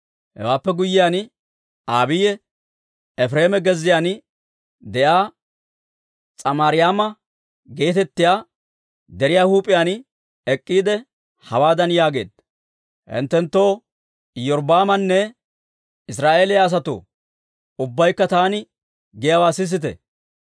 Hewaappe guyyiyaan, Abiiyi Efireema gezziyaan de'iyaa S'amarayma geetettiyaa deriyaa huup'iyaan ek'k'iide, hawaadan yaageedda; «Hinttenttoo, Iyorbbaamanne Israa'eeliyaa asatoo, ubbaykka taani giyaawaa sisite!